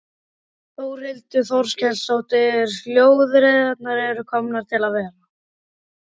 Þórhildur Þorkelsdóttir: Hjólreiðarnar eru komnar til að vera?